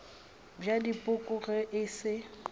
bja dipoko ge e se